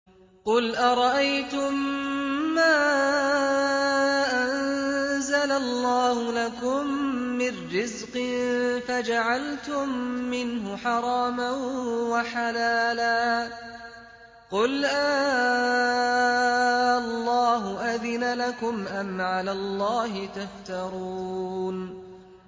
قُلْ أَرَأَيْتُم مَّا أَنزَلَ اللَّهُ لَكُم مِّن رِّزْقٍ فَجَعَلْتُم مِّنْهُ حَرَامًا وَحَلَالًا قُلْ آللَّهُ أَذِنَ لَكُمْ ۖ أَمْ عَلَى اللَّهِ تَفْتَرُونَ